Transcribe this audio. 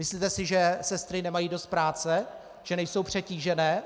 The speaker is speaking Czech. Myslíte si, že sestry nemají dost práce, že nejsou přetížené?